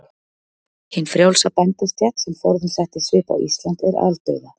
Hin frjálsa bændastétt, sem forðum setti svip á Ísland, er aldauða.